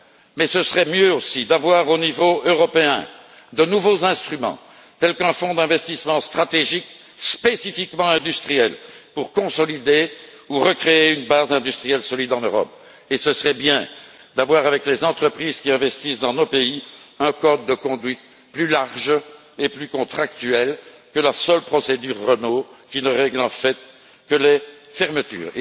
Mais ce serait mieux aussi d'avoir, au niveau européen, de nouveaux instruments tels qu'un fonds d'investissement stratégique spécifiquement industriel pour consolider ou recréer une base industrielle solide en Europe et ce serait bien d'avoir avec les entreprises qui investissent dans nos pays un code de conduite plus large et plus contractuel que la seule procédure Renault qui ne règle en fait que les fermetures.